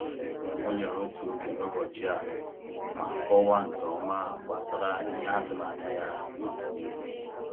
O nyere otu oge n’ụbọchị a ma kọwaa nke ọma gbasara ihe a tụrụ anya ya n’ọdịnihu.